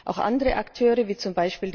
Auch andere Akteure, wie z.